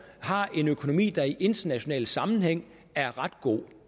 har en økonomi der i internationale sammenhænge er ret god